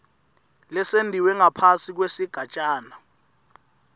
lesentiwe ngaphasi kwesigatjana